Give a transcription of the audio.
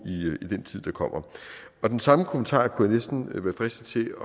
i den tid der kommer den samme kommentar kunne jeg næsten være fristet til